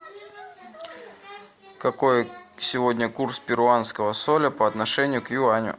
какой сегодня курс перуанского соля по отношению к юаню